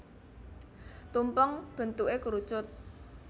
Tumpeng bentuké kerucut